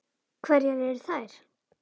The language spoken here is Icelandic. Hverjar eru þær?